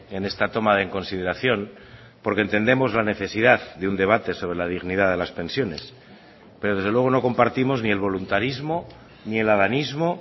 en esta toma en consideración porque entendemos la necesidad de un debate sobre la dignidad de las pensiones pero desde luego no compartimos ni el voluntarismo ni el adanismo